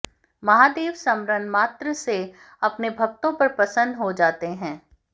महादेव स्मरण मात्र से अपने भक्तों पर प्रसन्न हो जाते हैं